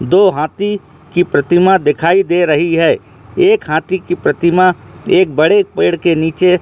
दो हाथी की प्रतिमा दिखाई दे रही है एक हाथ की प्रतिमा एक बड़े पेड़ के नीचे--